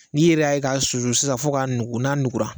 N'i yɛrɛ y'a ye ka susu sisan fo ka nugu, na nugura.